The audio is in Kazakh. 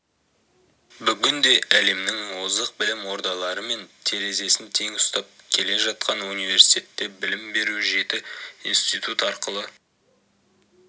бүгінде әлемнің озық білім ордаларымен терезесін тең ұстап келе жатқан университетте білім беру жеті институт арқылы